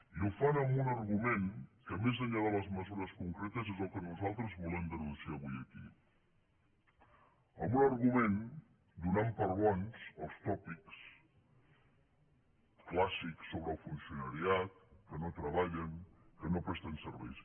i ho fan amb un argument que més enllà de les mesures concretes és el que nosaltres volem denunciar avui aquí amb un argument donant per bons els tòpics clàssics sobre el funcionariat que no treballen que no presten serveis